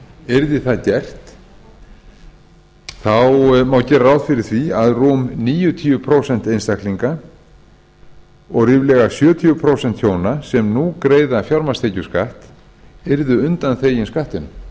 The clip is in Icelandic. yrði það gert má gera ráð fyrir að rúm níu prósent einstaklinga og ríflega sjötíu prósent hjóna sem nú greiða fjármagnstekjuskatt yrðu undanþegin skattinum